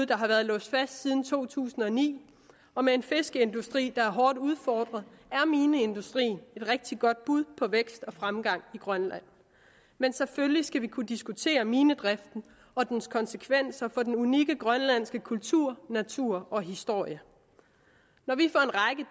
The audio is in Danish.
der har været låst fast siden to tusind og ni og med en fiskeindustri der er hårdt udfordret er mineindustrien et rigtig godt bud på vækst og fremgang i grønland men selvfølgelig skal vi kunne diskutere minedriften og dens konsekvenser for den unikke grønlandske kultur natur og historie